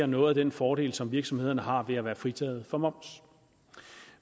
noget af den fordel som virksomhederne har ved at være fritaget for moms